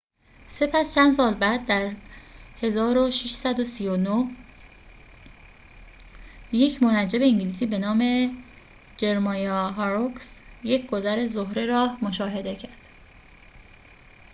سپس چند سال بعد در ۱۶۳۹ یک منجم انگلیسی به نام جرمایا هاروکس یک گذر زهره را مشاهده کرد